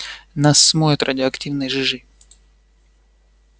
нас смоет радиоактивной жижей